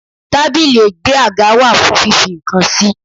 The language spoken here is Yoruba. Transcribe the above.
Tábìlì ègbé àga wá fún fífi nǹkan sí?